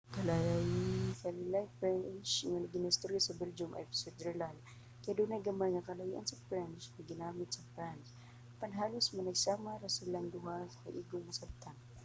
ang lain-laing french nga ginaistorya sa belgium ug switzerland kay adunay gamay nga kalahian sa french nga ginagamit sa france apan halos managsama ra silang duha nga igong masabtan